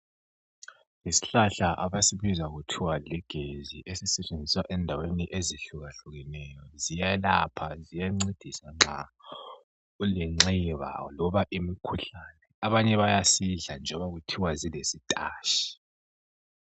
Isihlahla abasibiza kuthiwa ligezi. Esisetshenziswa endaweni ezehlukahlukeneyo. Ziyelapha! Ziyancedisa nxa ulenxeba, loba imikhuhlane. Abanye bayasidla njengoba kuthiwa silesitashi.